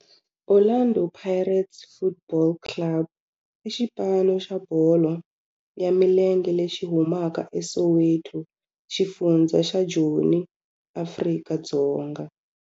Orlando Pirates Football Club i xipano xa bolo ya milenge lexi humaka eSoweto, xifundzha xa Joni, Afrika-Dzonga.